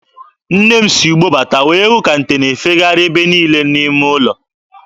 Nne m si ugbo bata wee hụ ka nte na-efegharị ebe niile n'ime ụlọ.